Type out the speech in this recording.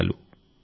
ధన్యవాదాలు